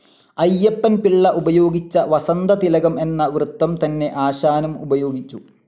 അയ്യപ്പൻ പിള്ള ഉപയോഗിച്ച വസന്തതിലകം എന്ന വൃത്തം തന്നെ ആശാനും ഉപയോഗിച്ചു.